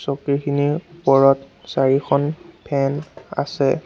চকীখিনিৰ ওপৰত চাৰিখন ফেন আছে।